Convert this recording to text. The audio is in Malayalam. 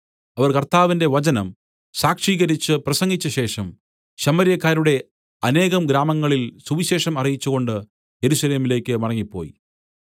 അവർ കർത്താവിന്റെ വചനം സാക്ഷീകരിച്ചു പ്രസംഗിച്ചശേഷം ശമര്യക്കാരുടെ അനേക ഗ്രാമങ്ങളിൽ സുവിശേഷം അറിയിച്ചുകൊണ്ട് യെരൂശലേമിലേക്ക് മടങ്ങിപ്പോയി